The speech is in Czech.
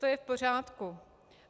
To je v pořádku.